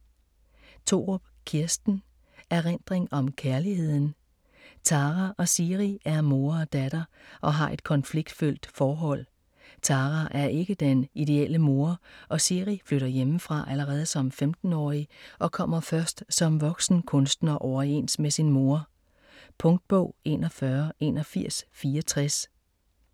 Thorup, Kirsten: Erindring om kærligheden Tara og Siri er mor og datter og har et konfliktfyldt forhold. Tara er ikke den ideelle mor, og Siri flytter hjemmefra allerede som 15-årig og kommer først som voksen kunstner overens med sin mor. Punktbog 418164 2018. 14 bind.